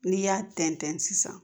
N'i y'a tɛntɛn sisan